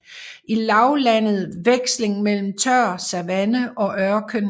I lavlandet veksling mellem tør savanne og ørken